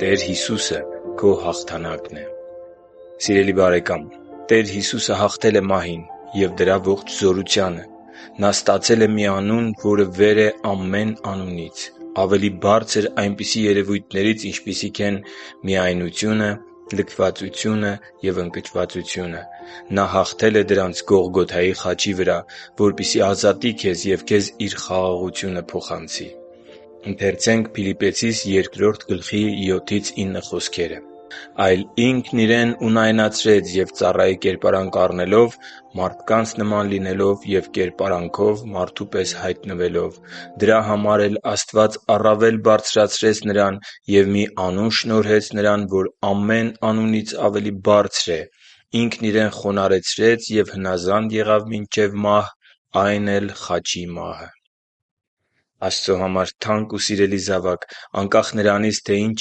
Տեր Հիսուսը քո հաղթանակն է Սիրելի՛ բարեկամ, Տեր Հիսուսը հաղթել է մահին և նրա ողջ զորությանը։ Նա ստացել է մի «անուն, որը վեր է ամեն անունից»... ավելի բարձր այնպիսի երևույթներից, ինչպիսիք են՝ միայնակությունը, լքվածությունը կամ ընկճվածությունը: Նա հաղթել է դրանց Գողգոթայի խաչի վրա, որպեսզի ազատի քեզ և քեզ Իր խաղաղությունը փոխանցի: «․․․այլ Ինքն Իրեն ունայնացրեց և ծառայի կերպարանք առնելով, մարդկանց նման լինելով ու կերպարանքով մարդու պես հայտնվելով՝ Դրա համար էլ Աստված առավել բարձրացրեց Նրան և մի անուն շնորհեց Նրան, որ ամեն անունից ավելի բարձր է, Ինքն Իրեն խոնարհեցրեց ու հնազանդ եղավ մինչև մահ, այն էլ՝ խաչի մահ» (Փիլիպպեցիս 2.7-9)։ Աստծո համար թանկ ու սիրելի՛ զավակ, անկախ նրանից, թե ինչ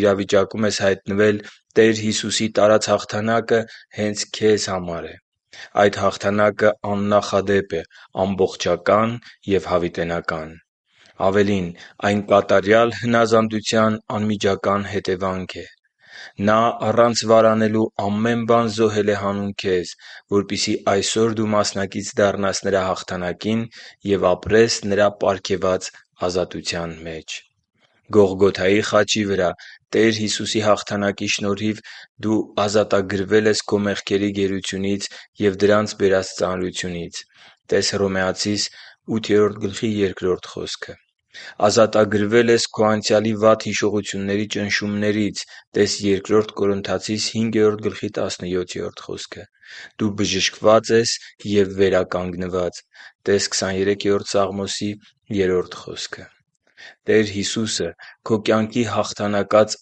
իրավիճակում ես հայտնվել, Տեր Հիսուսի տարած հաղթանակը հե՛նց քեզ համար է: Այդ հաղթանակը աննախադեպ է, ամբողջական և հավիտենական: Ավելին, այն կատարյալ հնազանդության անմիջական հետևանքն է: Նա առանց վարանելու ամեն բան զոհել է հանուն քեզ, որպեսզի այսօր դու մասնակից դառնաս Նրա հաղթանակին և ապրես ազատության մեջ: Գողգոթայի խաչի վրա Տեր Հիսուսի հաղթանակի շնորհիվ դու… - Ազատագրվել ես քո մեղքերի գերությունից և դրանց բերած ծանրությունից (տե՛ս Հռոմեացիս 8.2 խոսքը)։ - Ազատագրվել ես քո անցյալի վատ հիշողությունների ճնշումներից (տե՛ս Բ Կորնթացիս 5.17 խոսքը)։ - Բժշկված ես և վերականգնված (տե՛ս Սաղմոս 23.3 խոսքը)։ Տեր Հիսուսը քո կյանքի հաղթանակած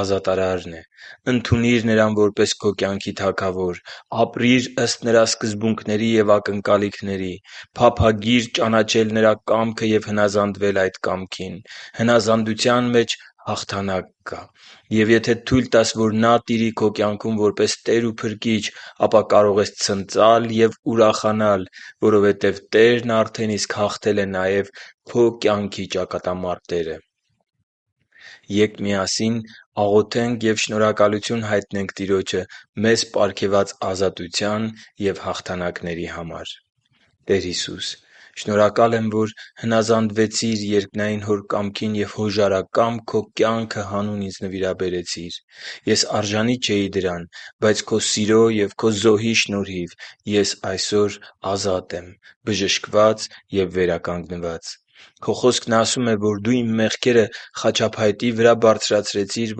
ազատարարն է: Ընդունի՛ր Նրան որպես քո կյանքի Թագավոր։ Ապրի՛ր ըստ Նրա սկզբունքների և ակնկալիքների։ Փափագի՛ր ճանաչել Նրա կամքը և հնազանդվել այդ կամքին։ Հնազանդության մեջ հաղթանակ կա։ Եվ եթե թույլ տաս, որ Նա տիրի քո կյանքում որպես Տեր ու Փրկիչ, ապա կարող ես ցնծալ և ուրախանալ, որովհետև Տերն արդեն իսկ հաղթել է նաև քո կյանքի ճակատամարտերը։ Ե՛կ միասին աղոթենք և շնորհակալություն հայտնենք Տիրոջը մեզ պարգևած ազատության և հաղթանակների համար․ «Տեր Հիսո՛ւս, շնորհակալ եմ, որ հնազանդվեցիր երկնային Հոր կամքին և հոժարակամ Քո կյանքը հանուն ինձ նվիրաբերեցիր: Ես արժանի չէի դրան, բայց Քո սիրո և Քո զոհի շնորհիվ ես այսօր ազատ եմ, բժշկված և վերականգնված: Քո Խոսքն ասում է, որ Դու իմ մեղքերը խաչափայտի վրա բարձրացրեցիր,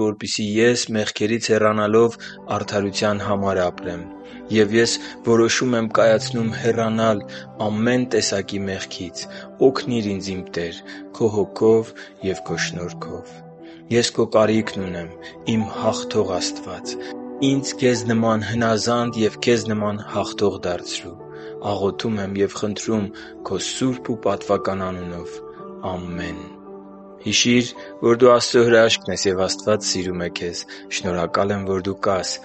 որպեսզի ես, մեղքերից հեռանալով, արդարության համար ապրեմ։ Ես որոշում եմ հեռանալ ամեն տեսակի մեղքից։ Օգնի՛ր ինձ, իմ Տե՛ր, Քո Հոգով և Քո շնորհքով։ Ես Քո կարիքն ունեմ, իմ հաղթող Տե՛ր։ Ինձ Քեզ նման հնազանդ և Քեզ նման հաղթող դարձրո՛ւ։ Աղոթում եմ և խնդրում Քո սուրբ ու պատվական անունով։ Ամե՛ն»։ Հիշի՛ր, որ դու Աստծո հրաշքն ես, և Աստված սիրում է քեզ։ Շնորհակալ եմ, որ դու կա՛ս